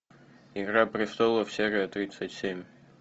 игра престолов серия тридцать семь